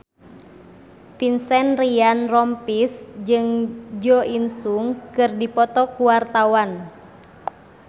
Vincent Ryan Rompies jeung Jo In Sung keur dipoto ku wartawan